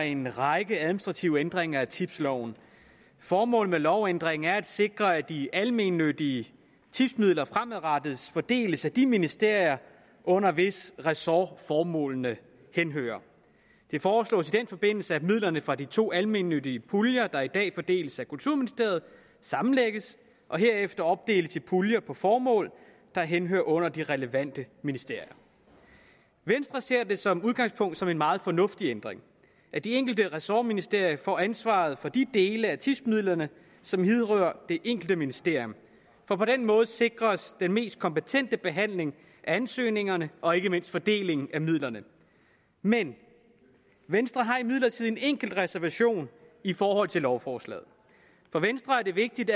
en række administrative ændringer af tipsloven formålet med lovændringen er at sikre at de almennyttige tipsmidler fremadrettet fordeles af de ministerier under hvis ressort formålene henhører det foreslås i den forbindelse at midlerne fra de to almennyttige puljer der i dag fordeles af kulturministeriet sammenlægges og herefter opdeles i puljer på formål der henhører under de relevante ministerier venstre ser det som udgangspunkt som en meget fornuftig ændring at de enkelte ressortministerier får ansvaret for de dele af tipsmidlerne som vedrører det enkelte ministerium for på den måde sikres den mest kompetente behandling af ansøgningerne og ikke mindst fordelingen af midlerne men venstre har imidlertid en enkelt reservation i forhold til lovforslaget for venstre er det vigtigt